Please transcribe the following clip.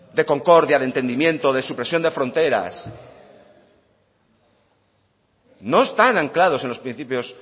de concordia de entendimiento de supresión de fronteras no están anclados en los principios